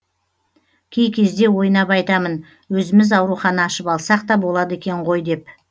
кей кезде ойнап айтамын өзіміз аурухана ашып алсақ та болады екен ғой деп